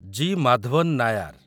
G. Madhavan Nayar